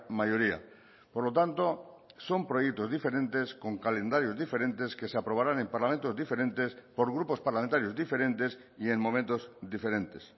mayoría por lo tanto son proyectos diferentes con calendarios diferentes que se aprobarán en parlamentos diferentes por grupos parlamentarios diferentes y en momentos diferentes